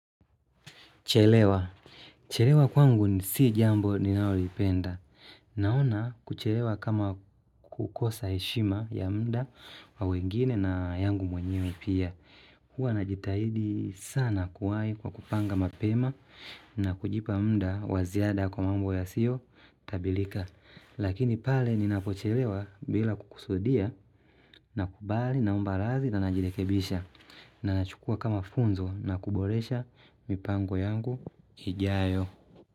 Chelewa. Chelewa kwangu si jambo ninalolipenda. Naona kuchelewa kama kukosa heshima ya muda wa wengine na yangu mwenyewe pia. Huwa najitahidi sana kuwai kwa kupanga mapema na kujipa muda wa ziada kwa mambo yasiotabilika. Lakini pale ninapochelewa bila kukusudia nakubali naomba radhi na najirekebisha na nachukua kama funzo na kuboresha mipango yangu ijayo.